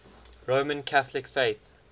roman catholic faith